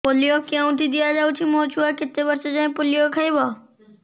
polio କେଉଁଠି ଦିଆଯାଉଛି ମୋ ଛୁଆ କେତେ ବର୍ଷ ଯାଏଁ ପୋଲିଓ ଖାଇବ